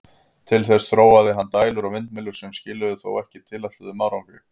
Til þess þróaði hann dælur og vindmyllur, sem skiluðu þó ekki tilætluðum árangri.